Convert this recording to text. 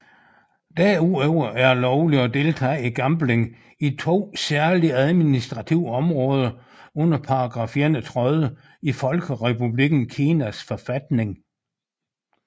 Derudover er det lovligt at deltage i gambling i to særlige administrative områder under paragraf 31 i Folkerepublikken Kinas forfatning